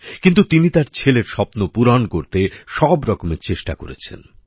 কিন্তু তিনি তার ছেলের স্বপ্ন পূরণ করতে সব রকম চেষ্টা করেছেন